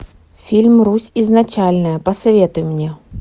фильм русь изначальная посоветуй мне